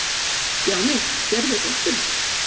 Stjáni, sérðu rottuna?